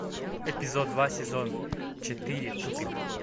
эпизод два сезон четыре тупик